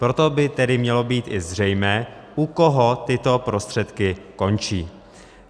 Proto by tedy mělo být i zřejmé, u koho tyto prostředky končí.